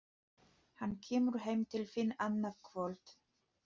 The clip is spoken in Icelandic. Hann kemur heim til þín annað kvöld